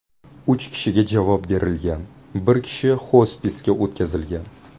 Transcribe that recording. Uch kishiga javob berilgan, bir kishi xospisga o‘tkazilgan.